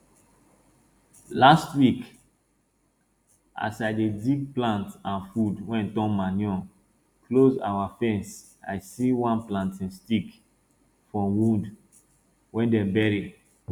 last week as i dey dig plant and food wey turn manure close our fence i see one planting stick from wood wey dem bury